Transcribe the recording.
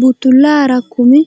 Buttullaara kumi